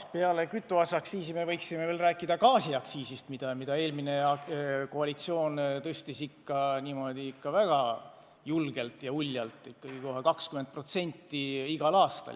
Peale kütuseaktsiisi me võiksime veel rääkida gaasiaktsiisist, mida eelmine koalitsioon tõstis ikka väga julgelt ja uljalt: kohe 20% igal aastal.